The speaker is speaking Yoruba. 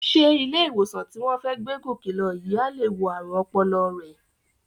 Sé ilé-ìwòsàn tí wọ́n fẹ́ gbé Gòkè lọ yìí á lè wo ààrùn ọpọlọ rẹ?